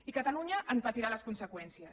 i catalunya en patirà les conseqüències